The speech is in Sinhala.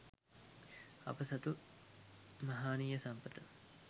අප සතු මහානීය සම්පත